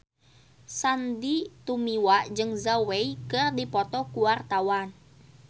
Sandy Tumiwa jeung Zhao Wei keur dipoto ku wartawan